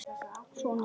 Svona fiska.